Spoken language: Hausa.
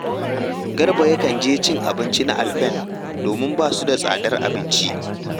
Garba yakan je cin abinci na Alpen domin ba su da tsadar abinci